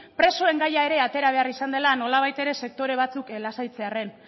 presoen gaia ere atera behar izan dela nolabait ere sektore batzuk lasaitzearren